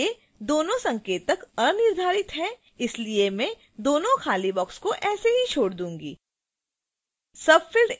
इसके लिए दोनों संकेतक अनिर्धारित हैं इसलिए मैं दोनों खाली boxes को ऐसे ही छोड़ दूंगी